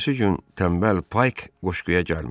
Ertəsi gün tənbəl payk qoşquya gəlmədi.